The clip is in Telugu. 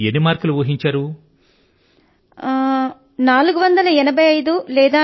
మీరు ఎన్ని మార్కులు వస్తాయని ఊహించారు